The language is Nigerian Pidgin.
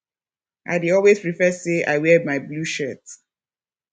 i dey always prefer sey i wear my blue shirt